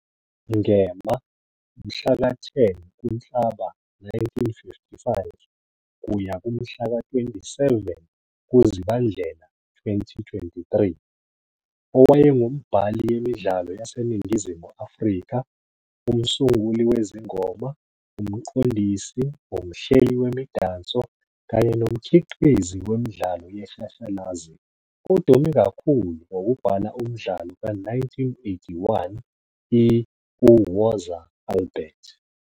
Ngema, Mhlaka-10 kuNhlaba 1955 -Mhlaka- 27 ku-Zibandlela 2023, owayengumbhali yemidlalo yaseNingizimu Afrika, umsunguli wezingoma, umqondisi, umhleli wemidanso, kanye nomkhiqizi wemidlalo yeshashalazi, odume kakhulu ngokubhala umdlalo ka-1981 i-"UWoza Albert!"!